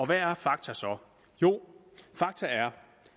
hvad er fakta så jo fakta er